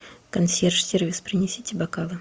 консьерж сервис принесите бокалы